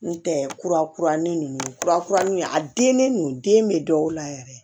N tɛ kurakuralen ninnu kura kuranin a den ninnu den bɛ dɔw la yɛrɛ